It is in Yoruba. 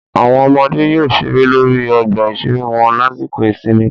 Àwọn ọmọdé yóò ṣeré lórí ọgbà ìṣeré wọn lásìkò ìsinmi